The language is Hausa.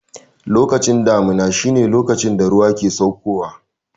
Lokacin damuna shi ne lokacin da ruwa ke sauko wa